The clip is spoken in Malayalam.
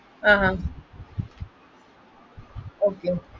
ah Okay okay